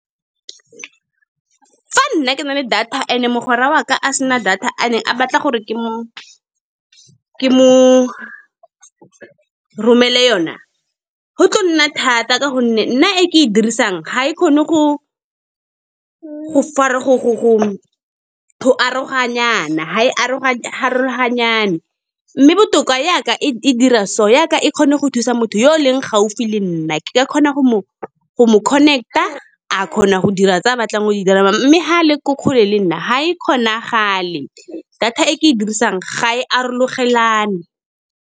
Fa nna ke nale data and-e mogwera wa ka a sena data, and a batla gore ke mo romele yona, go tlo nna thata ka gonne nna e ke e dirisang, ga e kgone ga e arogane. Mme botoka yaka e dira so, yaka e kgone go thusa motho yo e leng gaufi le nna, ke ka kgona go mo connect-a. A kgona go dira tse a batlang o di dira, mme ga a le ko kgole le nna ga e kgonagale, data e ke e dirisang ga e arogane.